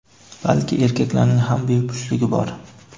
balki erkaklarning ham bepushtligi bor.